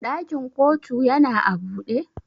Ɗakin ƙotu yana a buɗe?